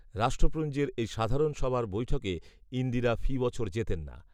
রাষ্ট্রপুঞ্জের এই সাধারণ সভার বৈঠকে ইন্দিরা ফি বছর যেতেন না